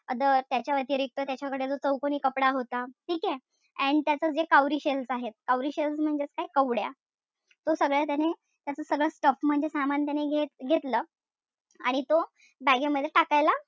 त्याच्या व्यतिरिक्त त्याच्याकडे जो चौकोनी कापड होता. ठीकेय? And त्याच जे cowrie shells आहेत. cowrie shells म्हणजेच काय? कवड्या. तो सगळं त्याने त्याच सगळं stuff म्हणजे सामान त्याने घेत घेतलं. आणि तो bag ए मध्ये टाकायला,